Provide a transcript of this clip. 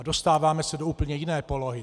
A dostáváme se do úplně jiné polohy.